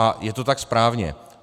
A je to tak správně.